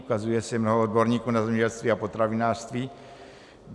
Ukazuje se mnoho odborníků na zemědělství a potravinářství.